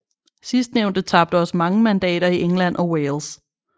Sidstnævnte tabte også mange mandater i England og Wales